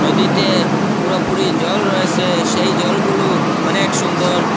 নদীতে পুরোপুরি জল রয়েসে সেই জলগুলু অনেক সুন্দর।